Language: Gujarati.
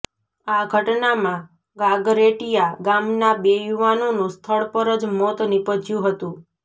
આ ઘટનામાં ગાગરેટીયા ગામના બે યુવાનોનું સ્થળ પર જ મોત નિપજ્યું હતું